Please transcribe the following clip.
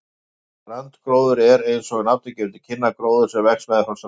Strandgróður er, eins og nafnið gefur til kynna, gróður sem vex meðfram ströndum.